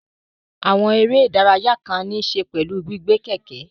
Àwọn eré ìdárayá kan ní í ṣe pẹ̀lú gbígbé kẹ̀kẹ́